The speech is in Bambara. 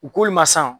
U k'olu ma san